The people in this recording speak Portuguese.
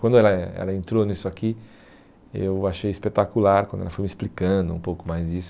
Quando ela eh ela entrou nisso aqui, eu achei espetacular quando ela foi me explicando um pouco mais disso.